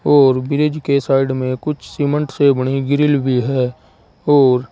और ब्रिज के साइड में कुछ सीमेंट से बनी ग्रिल भी है और--